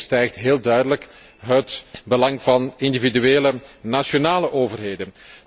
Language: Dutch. Want dit overstijgt heel duidelijk het belang van individuele nationale overheden.